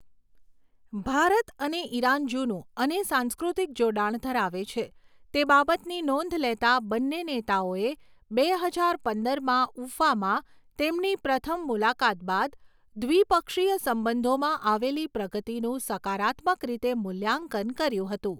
ભારત અને ઇરાન જૂનું અને સાંસ્કૃતિક જોડાણ ધરાવે છે તે બાબતની નોંધ લેતા બંને નેતાઓએ બે હજાર પંદરમાં ઉફામાં તેમની પ્રથમ મુલાકાત બાદ દ્વિપક્ષીય સંબંધોમાં આવેલી પ્રગતિનું સકારાત્મક રીતે મૂલ્યાંકન કર્યું હતું.